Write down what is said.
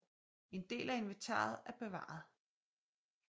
En del af inventaret er bevaret